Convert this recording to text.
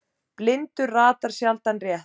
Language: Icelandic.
Blindur ratar sjaldan rétt.